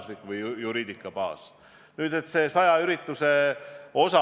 Seetõttu ongi olnud soovitus, et kõik nakatunu lähikondsed püsiksid 14 päeva kodus.